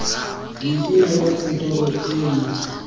leina la kantoro e mo